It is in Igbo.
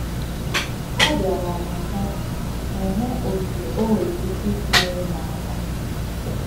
A bịara m hụ m hụ otú o nwere ike isi nyere m aka